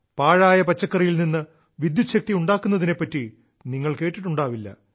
പാഴായ പച്ചക്കറിയിൽ നിന്ന് വിദ്യുച്ഛക്തി ഉണ്ടാക്കുന്നതിനെപ്പറ്റി നിങ്ങൾ കേട്ടിട്ടുണ്ടാവില്ല